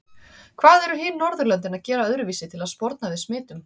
Hvað eru hin Norðurlöndin að gera öðruvísi til að sporna við smitum?